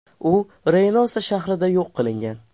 U Reynosa shahrida yo‘q qilingan.